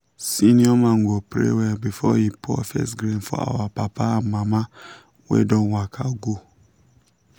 senior man go pray well before he pour first grain for our papa and mama wey don waka go.